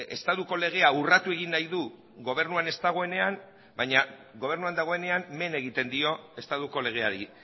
estatuko legea urratu egin nahi du gobernuan ez dagoenean baina gobernuan dagoenean men egiten dio estatuko legeari